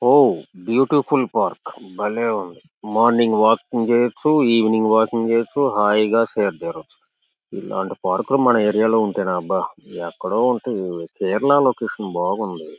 Wow beautiful park బలే ఉంది . Morning walking చెయ్యొచ్చు ఈవెనింగ్ వాకింగ్ చెయ్యొచ్చు హాయిగా సేదతీరొచ్చు. ఇలాంటి పార్కులు మన ఏరియా లో ఉంటె న అబ్బా ఎక్కడో ఉంటాయి ఇవి కేరళ లొకేషన్ బాగుంది.